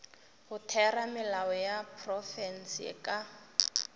go theramelao ya profense ka